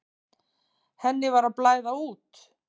Henni var að blæða út.